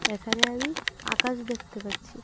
এখানে আমি আকাশ দেখতে পাচ্ছি।